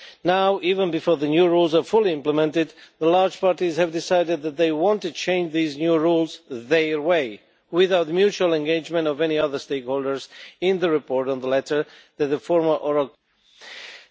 Now, even before the new rules are fully implemented, the large parties have decided that they want to change these new rules their way, without the mutual engagement of any other stakeholders in the report on the letter that the former oral question refers to.